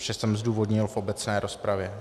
Vše jsem zdůvodnil v obecné rozpravě.